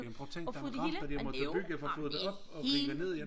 Jamen prøv at tænk den rampe de har måtte bygge for at få det op og rive ned igen